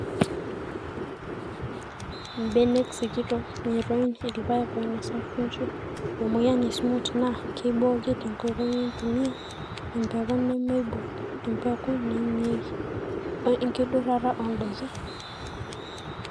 mbenek sikitok, ng`iroin, ilpaek oinosa kunchu, emoyian e smut naa keiboki tenkoitoi nintumia embeku nemeibung, embeku naimieki, oo enkidurata oo ndaiki